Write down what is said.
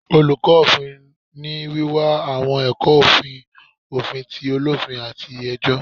Oluko ofin ni wiwa awọn ẹkọ ofin, ofin t’olofin, ati ẹjọ